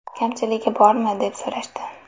Kamchiligi bormi, deb so‘rashdi.